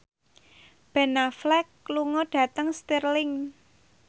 Ben Affleck lunga dhateng Stirling